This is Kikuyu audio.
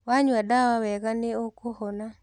Wanyua ndawa wega nĩ ũkũhona.